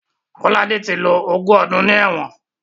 Kolade ti lo ogún ọdún ní ẹ̀wọ̀n